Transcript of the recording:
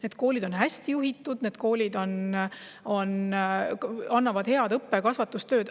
Need koolid on hästi juhitud ja nad head õppe- ja kasvatustööd.